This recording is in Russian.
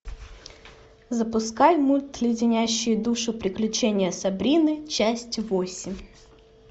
запускай мульт леденящие душу приключения сабрины часть восемь